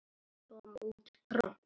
Af hverju kom út tromp?